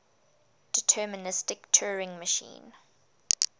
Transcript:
deterministic turing machine